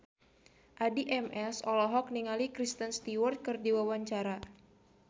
Addie MS olohok ningali Kristen Stewart keur diwawancara